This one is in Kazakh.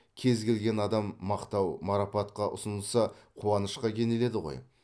кез келген адам мақтау марапатқа ұсынылса қуанышқа кенеледі ғой